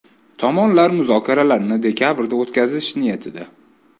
Tomonlar muzokaralarni dekabrda o‘tkazish niyatida.